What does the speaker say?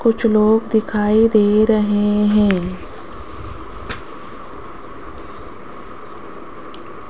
कुछ लोग दिखाई दे रहे हैं।